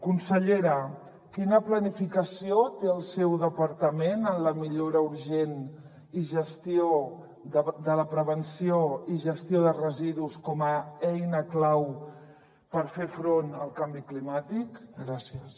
consellera quina planificació té el seu departament en la millora urgent i gestió de la prevenció i gestió de residus com a eina clau per fer front al canvi climàtic gràcies